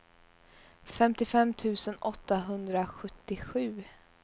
femtiofem tusen åttahundrasjuttiosju